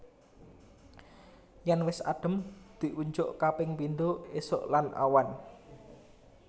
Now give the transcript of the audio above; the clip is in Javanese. Yen wis adhem diunjuk kaping pindho esuk lan awan